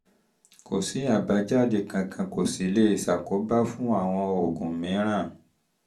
kò sí àbájáde kankan kò sí lè ṣe àkóbá fún àwọn oògùn mìíràn